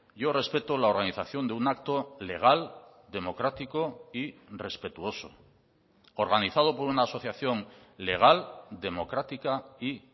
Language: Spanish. yo respeto la organización de un acto legal democrático y respetuoso organizado por una asociación legal democrática y